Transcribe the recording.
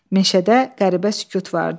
Meşədə qəribə sükut vardı.